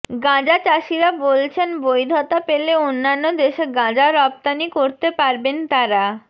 গাঁজা চাষীরা বলছেন বৈধতা পেলে অন্যান্য দেশে গাঁজা রপ্তানি করতে পারবেন তারা